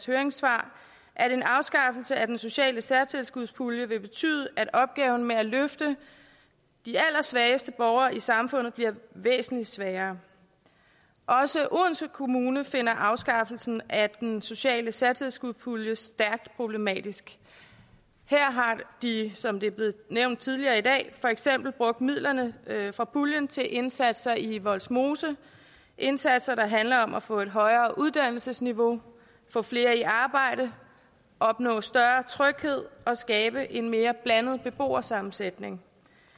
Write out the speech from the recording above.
høringssvar at en afskaffelse af den sociale særtilskudspulje vil betyde at opgaven med at løfte de allersvageste borgere i samfundet bliver væsentlig sværere også odense kommune finder afskaffelsen af den sociale særtilskudspulje stærkt problematisk her har de som det er blevet nævnt tidligere i dag for eksempel brugt midlerne fra puljen til indsatser i vollsmose indsatser der handler om at få et højere uddannelsesniveau få flere i arbejde opnå større tryghed og skabe en mere blandet beboersammensætning